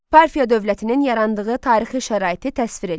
Parfiya dövlətinin yarandığı tarixi şəraiti təsvir eləyin.